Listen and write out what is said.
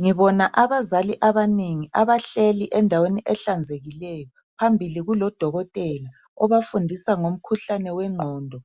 Ngibona abazali abanengi abahleli endaweni ehlanzekileyo phambili kulodokotela obafundisa ngomkhuhlane wengqondo.